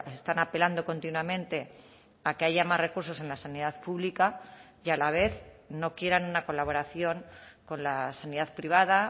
están apelando continuamente a que haya más recursos en la sanidad pública y a la vez no quieran una colaboración con la sanidad privada